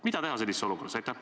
Mida teha sellises olukorras?